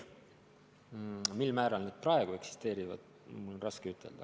Mil määral need praegu eksisteerivad, mul on raske ütelda.